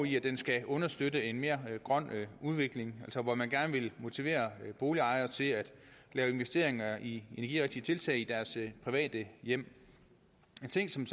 i at den skal understøtte en mere grøn udvikling hvor man gerne vil motivere boligejere til at lave investeringer i energirigtige tiltag i deres private hjem en ting som